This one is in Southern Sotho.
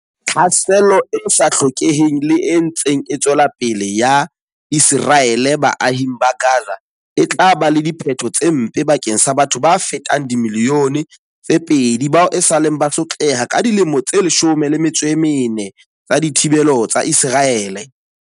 Tlhaselo e sa hlokeheng le e ntseng e tswela pele ya Ise raele baahing ba Gaza e tla ba le diphetho tse mpe bakeng sa batho ba fetang dimili yone tse pedi bao esaleng ba sotleha ka dilemo tse 14 tsa dithibelo tsa Iseraele.